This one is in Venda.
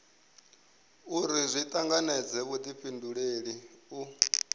uri zwi tanganedze vhudifhinduleli u